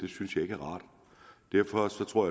synes jeg ikke er rart derfor tror